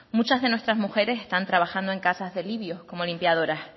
muchas de nuestras mujeres están trabajando en casas de libios como limpiadoras